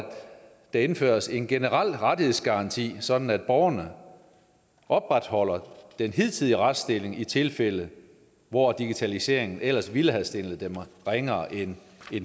der indføres en generel rettighedsgaranti sådan at borgerne opretholder den hidtidige retsstilling i tilfælde hvor digitaliseringen ellers ville have stillet dem ringere end